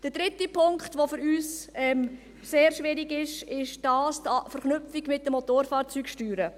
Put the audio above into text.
Der dritte Punkt, der für uns sehr schwierig ist, ist die Verknüpfung mit den Motorfahrzeugsteuern.